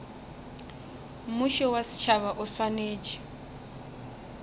mmušo wa setšhaba o swanetše